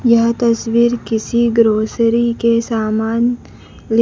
यह तस्वीर किसी ग्रोसरी के सामान ले--